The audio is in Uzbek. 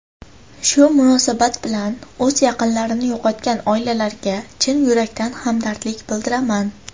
Shu munosabat bilan o‘z yaqinlarini yo‘qotgan oilalarga chin yurakdan hamdardlik bildiraman.